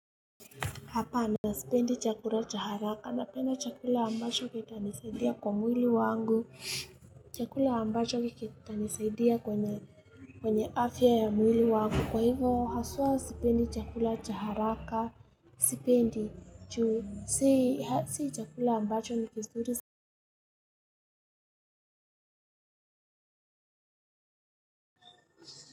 Hapana sipendi chakula cha haraka napenda chakula ambacho kitanisaidia kwa mwili wangu, chakula ambacho kitanisaidia kwenye afya ya mwili wangu. Kwa hivyo haswa sipendi chakula cha haraka. Sipendi, ju si. Si chakula ambacho ni kizuri.